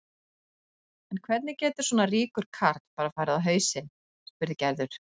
En hvernig getur svona ríkur karl bara farið á hausinn? spurði Gerður.